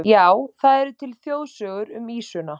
Já, það eru til þjóðsögur um ýsuna.